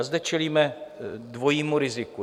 A zde čelíme dvojímu riziku.